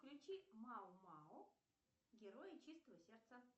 включи мао мао герои чистого сердца